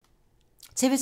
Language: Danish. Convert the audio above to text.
TV 2